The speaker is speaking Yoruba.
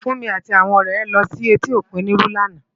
Funmi àti áwòn òrè è lò si èti ókún Oniru làná